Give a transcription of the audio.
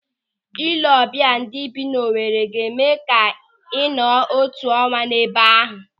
Ị lee ọbịa ndị bi n'Owere ga-eme gị ka ị nọọ otu ọnwa ebe ahụ